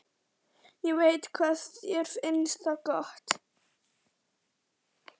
Ég veit hvað þér finnst það gott.